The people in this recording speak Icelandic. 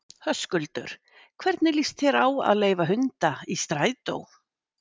Höskuldur: Hvernig líst þér á að leyfa hunda í strætó?